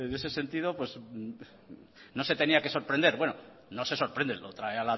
ese sentido no se tenía que sorprender bueno no se sorprende lo trae